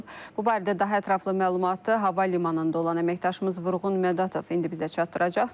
Bu barədə daha ətraflı məlumatı hava limanında olan əməkdaşımız Vurğun Mədətov indi bizə çatdıracaq.